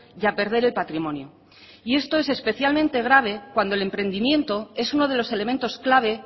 y a perder el patrimonio y esto es especialmente grave cuando el emprendimiento es uno de los elementos clave